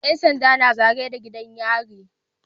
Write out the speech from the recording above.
Yan sanda na zagaye da gidan yari